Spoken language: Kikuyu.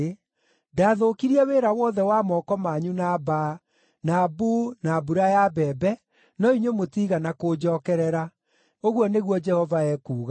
Ndathũkirie wĩra wothe wa moko manyu na mbaa, na mbuu na mbura ya mbembe, no inyuĩ mũtiigana kũnjookerera,’ ũguo nĩguo Jehova ekuuga.